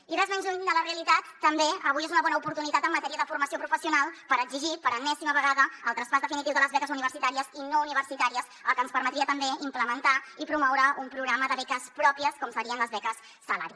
i res més lluny de la realitat també avui és una bona oportunitat en matèria de formació professional per exigir per enèsima vegada el traspàs definitiu de les beques universitàries i no universitàries cosa que ens permetria també implementar i promoure un programa de beques pròpies com serien les beques salari